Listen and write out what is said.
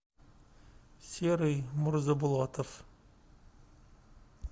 серый мурзабулатов